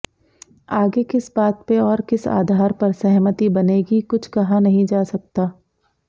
आगे किस बात पे और किस आधार पर सहमति बनेगी कुछ कहा नहीं जा सकता